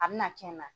A bɛna kɛ n na